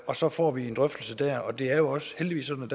og så får vi en drøftelse der det er jo også heldigvis sådan